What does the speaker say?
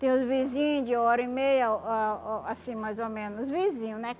Tem os vizinhos de hora e meia, oh ah oh assim, mais ou menos, vizinho, né?